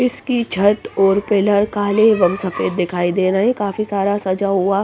इसकी छत और पिलर काले एवं सफेद दिखाई दे रहे हैं काफी सारा सजा हुआ --